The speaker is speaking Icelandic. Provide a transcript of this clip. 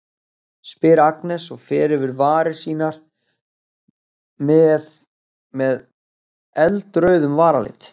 spyr Agnes og fer yfir varir sínar með með eldrauðum varalit.